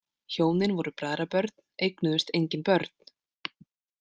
Hjónin voru bræðrabörn eignuðust engin börn.